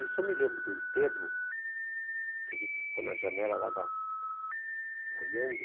Isso eu me lembro do enterro, que a gente ficou na janela lá da, olhando.